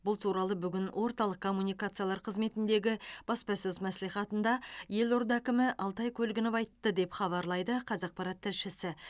бұл туралы бүгін орталық коммуникациялар қызметіндегі баспасөз мәслихатында елорда әкімі алтай көлгінов айтты деп хабарлайды қазақпарат тілшісі